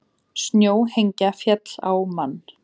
Snjóhengja féll á mann